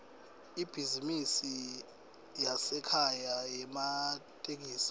ibhizinisi yasekhaya yematekisi